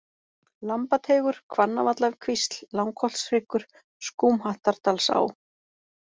Lambateigur, Hvannavallakvísl, Langholtshryggur, Skúmhattardalsá